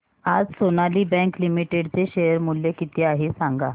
आज Sonali bank limited चे share मूल्य किती आहे सांगा